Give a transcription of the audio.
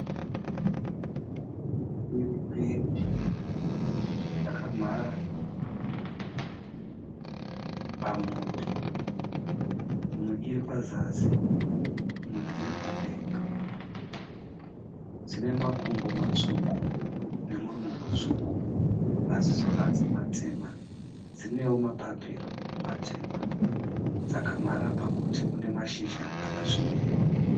Shiri mbiri dzakamhara pamuti. Imwe iri pazasi imwe iri padenga. Dzine makumbo matsvuku nemuromo mutsvuku, ,maziso adzo matema dzinewo mapapiro matema, Dzakamhara pamuti une mashizha akasvibira.